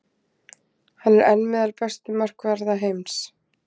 Hann er enn meðal bestu markvarða heims.